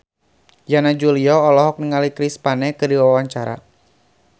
Yana Julio olohok ningali Chris Pane keur diwawancara